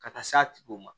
Ka taa s'a tigiw ma